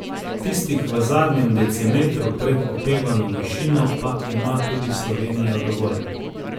Tistih v zadnjem decimetru pred opevano višino pa ima tudi Slovenija dovolj.